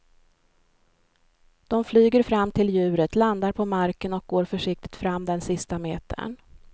De flyger fram till djuret, landar på marken och går försiktigt fram den sista metern.